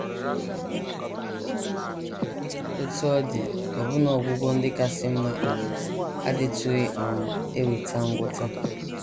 Otú ọ dị, ọbụna ọgwụgwọ ndị kasị mma um adịtụghị um eweta ngwọta.